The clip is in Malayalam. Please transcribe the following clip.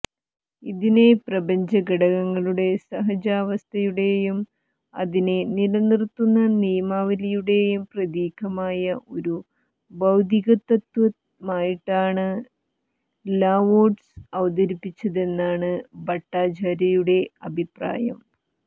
ഇതിനെ പ്രപഞ്ചഘടകങ്ങളുടെ സഹജാവസ്ഥയുടെയും അതിനെ നിലനിര്ത്തുന്ന നിയമാവലിയുടേയും പ്രതീകമായ ഒരു ഭൌതികതത്ത്വമായിട്ടാണ് ലാവോട്സു അവതരിപ്പിച്ചതെന്നാണ് ഭട്ടാചാര്യയുടെ അഭിപ്രായം